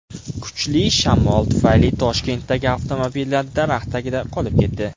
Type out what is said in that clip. Kuchli shamol tufayli Toshkentdagi avtomobillar daraxt tagida qolib ketdi .